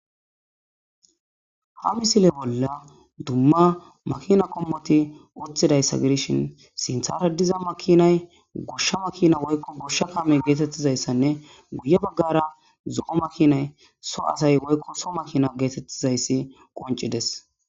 Ha misile bolla dumma makina qommoti uththidayssa gidishin sinthara diza makiinay goshsha makiina woykko goshsha kaame getetizayssanne ya bagara zo7o makiinay so asay woykko so makina geetetizayssi qonccidees.